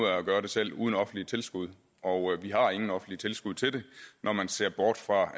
at gøre selv uden offentlige tilskud og vi har ingen offentlige tilskud til det når man ser bort fra